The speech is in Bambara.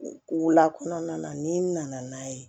Wula kɔnɔna na n'i nana n'a ye